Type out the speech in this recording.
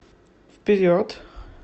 вперед